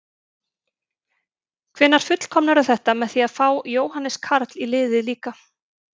Hvenær fullkomnarðu þetta með því að fá Jóhannes Karl í liðið líka?